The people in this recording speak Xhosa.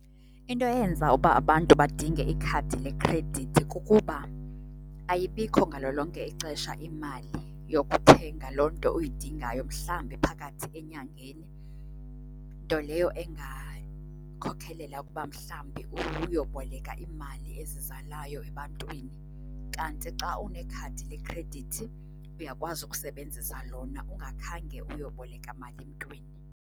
Into eyenza uba abantu badinge ikhadi lekhredithi kukuba ayibikho ngalo lonke ixesha imali yokuthenga loo nto uyidingayo mhlambi phakathi enyangeni, nto leyo engakhokhelela ukuba mhlambi uyoboleka imali ezizalayo ebantwini. Kanti xa unekhadi lekhredithi uyakwazi ukusebenzisa lona ungakhange uyoboleka mali mntwini.